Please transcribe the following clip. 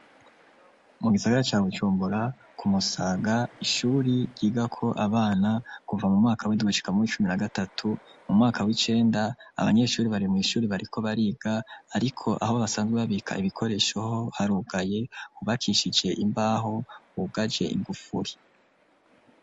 Mu gisagara ca Bujumbura, ku Musaga, ishuri ryigako abana kuva mu windwi gushika mu w' icumi na gatatu, mu mwaka w' icenda, abanyeshuri bari mw' ishuri bariko bariga, ariko aho basanzwe babika ibikoresho ho harugaye, hubakishije imbaho, hugaje igufuri.